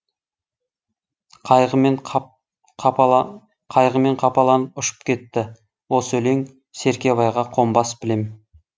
қайғымен қапаланып ұшып кетті осы өлең серкебайға қонбас білем